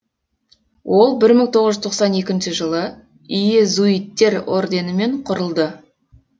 ол бір мың тоғыз жүз тоқсан екінші жылы иезуиттер орденімен құрылды